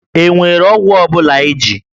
E nwere ọgwụ ọ bụla iji?